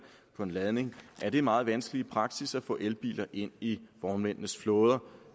på en ladning er det meget vanskeligt i praksis at få elbiler ind i vognmændenes flåder